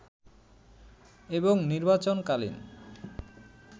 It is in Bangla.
এবং নির্বাচন কালীন